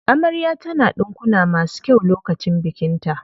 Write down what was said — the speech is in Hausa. Amarya ta na ɗinkuna masu kyau lokacin bikin ta.